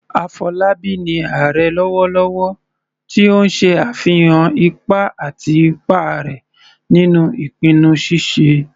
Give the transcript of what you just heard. Afolabi ni "Ààrẹ " lọwọlọwọ, ti o n ṣe afihan ipa àti ipa rẹ̀ nínú ìpinnu ṣíṣe